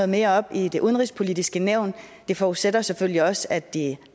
mere op i det udenrigspolitiske nævn det forudsætter selvfølgelig også at de